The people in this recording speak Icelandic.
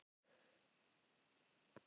Þið hljótið að ná honum ef þið hafið hraðan á.